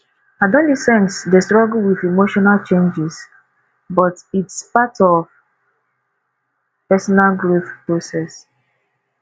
adolescents dey struggle with emotional changes but its part of personal growth process